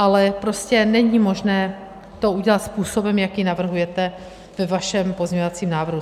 Ale prostě není možné to udělat způsobem, jaký navrhujete ve vašem pozměňovacím návrhu.